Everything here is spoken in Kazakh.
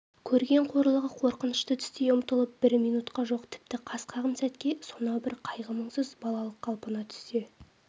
көрген қорлығы қорқынышты түстей ұмытылып бір минутқа жоқ тіпті қас қағым сәтке сонау бір қайғы-мұңсыз балалық қалпына түссе